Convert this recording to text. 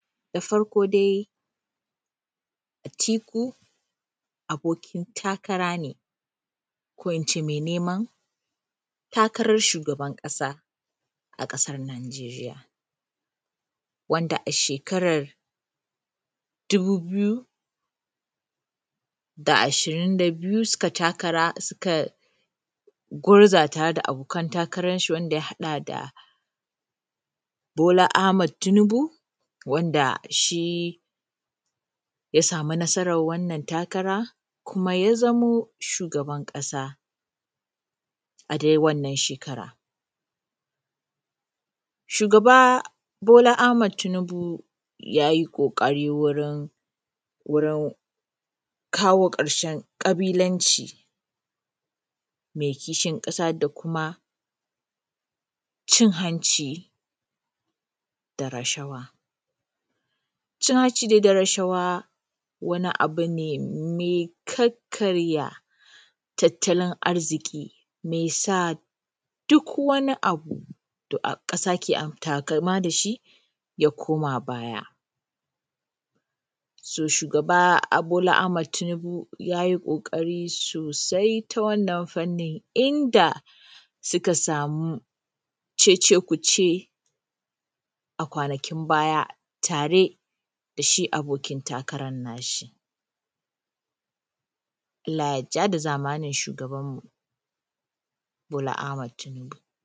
da farko dai Atiku abokin takara ne ko ince mai neman takarar shugaban ƙasa a ƙasar nanjeriya wanda a shekarar dubu biyu da ashirin da biyu suka ai takara suka gurzu da tare da abokan takaran shi wanda ya haɗa da bola ahmad tunubu wanda shi ya samu nasarar wannan takara kuma ya zamo shugaban ƙasa a dai wannan shekara shugaba bola ahmad tinubu ya yi ƙoƙari wurin wurin kawo ƙarshen ƙabilanci me kishin ƙasa da kuma cin hanci da rashawa cin hanci dai da rashawa wani abu ne mai karkarya tattalin arziki mai sa duk wani abu da ƙasa ke taƙama dashi ya koma baya baya toh shugaba bola ahmad tinubu ya yi ƙoƙari sosai ta wannan fanni inda suka samu cece kuce a kwanakin baya tare da shi abokin takaran na shi allah ya ja da zamanin shugabanmu shugaba ahmad tinubu